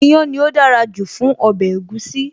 Iyán ni ó dára jù fún ọbẹ̀ egusi.